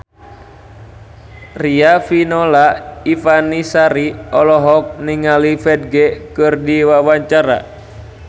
Riafinola Ifani Sari olohok ningali Ferdge keur diwawancara